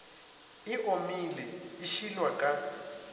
e omile e šilwa ka